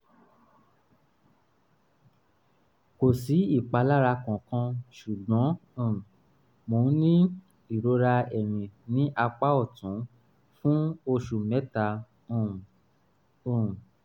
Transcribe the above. kò sí ìpalára kankan ṣùgbọ́n um mò ń ní ìrora ẹ̀yìn ní apá ọ̀tún fún oṣù mẹ́ta um um